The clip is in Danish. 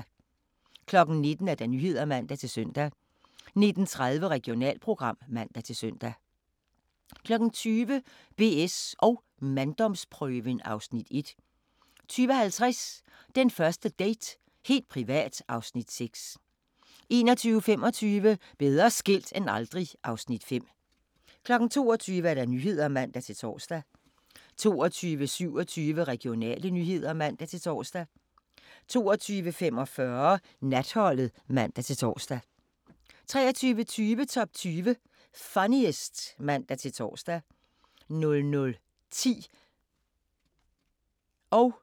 19:00: Nyhederne (man-søn) 19:30: Regionalprogram (man-søn) 20:00: BS & manddomsprøven (Afs. 1) 20:50: Den første date – helt privat (Afs. 6) 21:25: Bedre skilt end aldrig (Afs. 5) 22:00: Nyhederne (man-tor) 22:27: Regionale nyheder (man-tor) 22:45: Natholdet (man-tor) 23:20: Top 20 Funniest (man-tor) 00:10: Grænsepatruljen (man-tor)